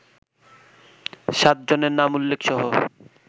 সাতজনের নাম উল্লেখসহ